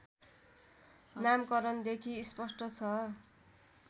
नामकरणदेखि स्पष्ट छ